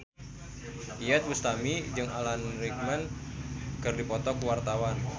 Iyeth Bustami jeung Alan Rickman keur dipoto ku wartawan